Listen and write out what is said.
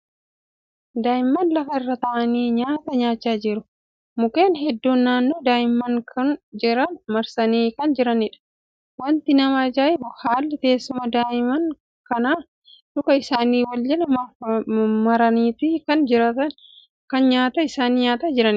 Daa'imman lafa irra taa'anii nyaata nyaachaa jiru. Mukkeen hedduun naannoo daa'imman kuni jiran marsanii kan jiraniidha. Wanti nama ajaa'ibu haalli teessuma daa'imman kanaa luka isaanii wal jala maraniiti kan nyaata isaani nyaataa jiran.